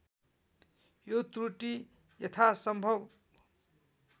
यो त्रुटी यथासम्भव